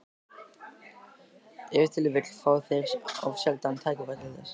Ef til vill fá þeir of sjaldan tækifæri til þess.